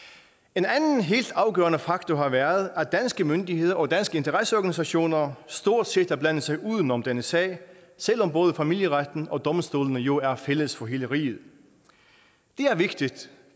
en anden helt afgørende faktor har været at danske myndigheder og danske interesseorganisationer stort set har blandet sig uden om denne sag selv om både familieretten og domstolene jo er fælles for hele riget det er vigtigt